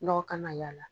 Nɔgɔ kan ka y'a la